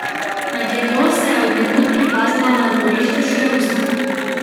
Med jedjo se je od nekod prikazala na dvorišču še rusa.